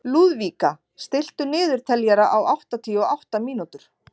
Lúðvíka, stilltu niðurteljara á áttatíu og átta mínútur.